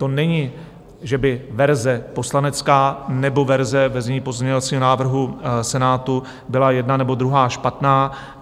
To není, že by verze poslanecká nebo verze ve znění pozměňovacího návrhu Senátu byla jedna nebo druhá špatná.